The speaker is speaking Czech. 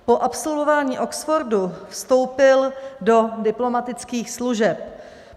Po absolvování Oxfordu vstoupil do diplomatických služeb.